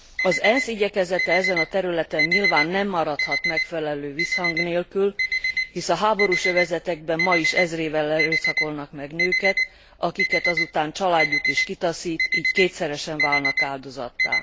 Az ENSZ igyekezete ezen a területen nyilván nem maradhat megfelelő visszhang nélkül, hisz a háborús övezetekben ma is ezrével erőszakolnak meg nőket, akiket azután családjuk is kitaszít, így kétszeresen válnak áldozattá.